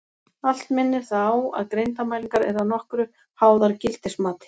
Allt minnir það á að greindarmælingar eru að nokkru háðar gildismati.